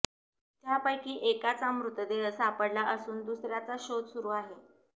त्यापैकी एकाचा मृतदेह सापडला असून दुसऱ्याचा शोध सुरु आहे